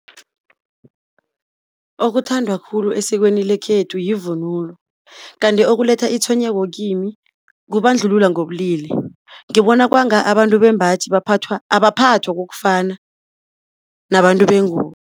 Okuthandwa khulu esikweni lekhethu yivunulo, kanti okuletha itshwenyeko kimi, kubandlululwa ngobulili. Ngibona kwanga abantu bembaji abaphathwa kokufana nabantu bengubo.